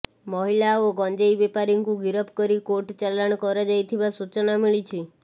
ମହିଳା ଓ ଗଞ୍ଜେଇ ବେପାରୀଙ୍କୁ ଗିରଫ କରି କୋର୍ଟ ଚାଲାଣ କରାଯାଇଥିବା ସୂଚନା ମିଳିଛି